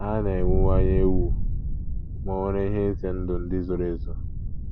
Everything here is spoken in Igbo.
Ha na - ewuwanye ewu, ma ò nwere ihe ize ndụ ndị zoro ezo?